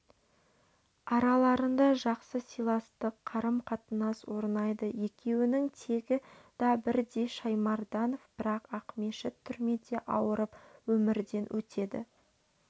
араларында жақсы сыйластық қарым-қатынас орнайды екеуінің тегі да бірдей шаймарданов бірақ ақмешіт түрмеде ауырып өмірден өтеді